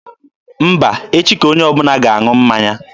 Mba, echi ka onye ọbụla ga-aṅụ mmanya.